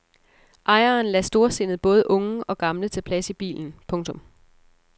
Ejeren lader storsindet både unge og gamle tage plads i bilen. punktum